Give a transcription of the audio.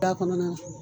Da kɔnɔna na